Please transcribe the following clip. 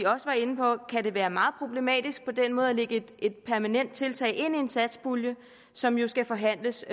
også var inde på kan det være meget problematisk på den måde at lægge et permanent tiltag ind i en satspulje som jo skal forhandles